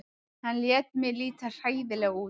Hann lét mig líta hræðilega illa út.